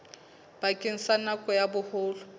bakeng sa nako ya boholo